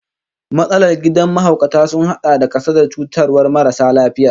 Matsalar kidan mahaukata sun hada da kasadar cutarwar marasa lafiyar